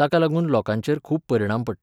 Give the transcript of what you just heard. ताका लागून लोकांचेर खूब परिणाम पडटा.